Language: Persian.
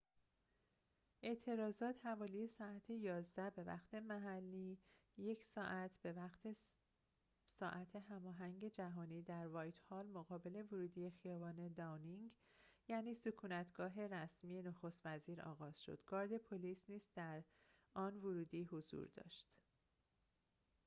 اعتراضات حوالی ساعت 11:00 به‌وقت محلی 1+ به‌وقت ساعت هماهنگ جهانی در «وایت‌هال»، مقابل ورودی خیابان «داونینگ»، یعنی سکونت‌گاه رسمی نخست‌وزیر، آغاز شد. گارد پلیس نیز در آن ورودی حضور داشت